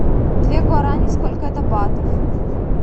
две гуарани сколько это батов